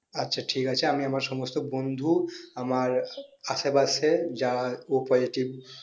আচ্ছা ঠিক আছে আমি আমার সমস্ত বন্ধু আমার আমার আশেপাশে যারা o positive